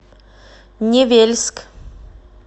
невельск